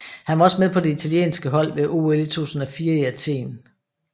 Han var også med på det italienske hold ved OL 2004 i Athen